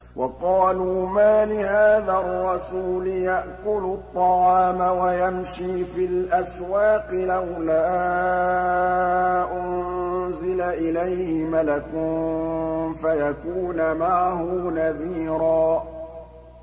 وَقَالُوا مَالِ هَٰذَا الرَّسُولِ يَأْكُلُ الطَّعَامَ وَيَمْشِي فِي الْأَسْوَاقِ ۙ لَوْلَا أُنزِلَ إِلَيْهِ مَلَكٌ فَيَكُونَ مَعَهُ نَذِيرًا